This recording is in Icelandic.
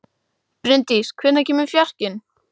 Bryndís, hvenær kemur fjarkinn?